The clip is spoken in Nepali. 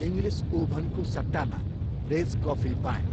इङ्ग्लिस ओभनको सट्टामा रेज कफी पाएँ।